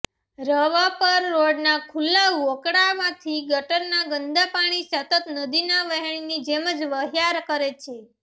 રવાપર રોડના ખુલ્લા વોકળામાંથી ગટરના ગંદા પાણી સતત નદીના વહેણની જેમ વહ્યા કરે છે